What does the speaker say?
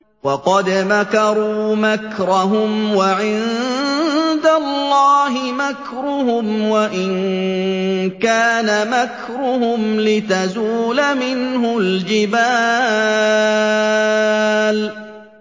وَقَدْ مَكَرُوا مَكْرَهُمْ وَعِندَ اللَّهِ مَكْرُهُمْ وَإِن كَانَ مَكْرُهُمْ لِتَزُولَ مِنْهُ الْجِبَالُ